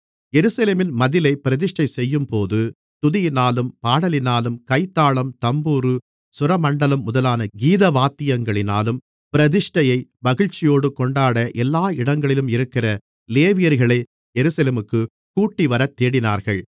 எருசலேமின் மதிலை பிரதிஷ்டைசெய்யும்போது துதியினாலும் பாடலினாலும் கைத்தாளம் தம்புரு சுரமண்டலம் முதலான கீதவாத்தியங்களினாலும் பிரதிஷ்டையை மகிழ்ச்சியோடே கொண்டாட எல்லா இடங்களிலும் இருக்கிற லேவியர்களை எருசலேமுக்குக் கூட்டிவரத் தேடினார்கள்